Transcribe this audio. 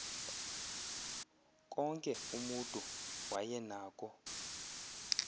konke umutu wayenako